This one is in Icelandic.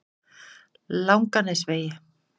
Langanesvegi